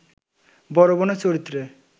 বড়বোনের চরিত্রে